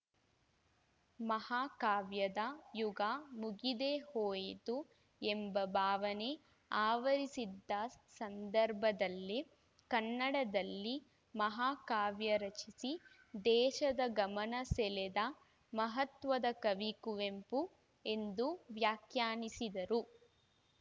ಮಹಾ ಕಾವ್ಯದ ಯುಗ ಮುಗಿದೇ ಹೋಯಿತು ಎಂಬ ಭಾವನೆ ಆವರಿಸಿದ್ದ ಸಂದರ್ಭದಲ್ಲೇ ಕನ್ನಡದಲ್ಲಿ ಮಹಾ ಕಾವ್ಯ ರಚಿಸಿ ದೇಶದ ಗಮನ ಸೆಳೆದ ಮಹತ್ವದ ಕವಿ ಕುವೆಂಪು ಎಂದು ವ್ಯಾಖ್ಯಾನಿಸಿದರು